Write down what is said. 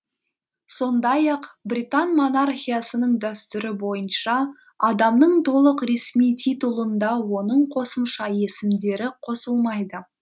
сондай ақ британ монархиясының дәстүрі бойынша адамның толық ресми титулында оның қосымша есімдері қосылмайды